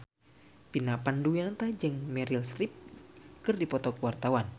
Vina Panduwinata jeung Meryl Streep keur dipoto ku wartawan